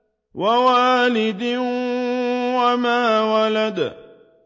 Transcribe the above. وَوَالِدٍ وَمَا وَلَدَ